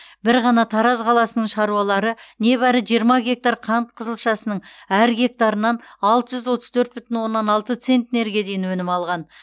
бір ғана тараз қаласының шаруалары небәрі жиырма гектар қант қызылшасының әр гектарынан алты жүз отыз төрт бүтін оннан алты центнерге дейін өнім алған